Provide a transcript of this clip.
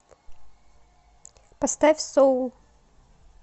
поставь соул